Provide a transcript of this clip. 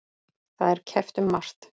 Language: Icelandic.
Það er keppt um margt.